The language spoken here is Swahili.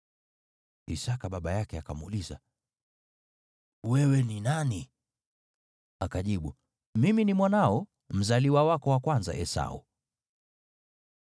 Isaki baba yake akamuuliza, “Wewe ni nani?” Akajibu, “Mimi ni mwanao, mzaliwa wako wa kwanza, Esau.”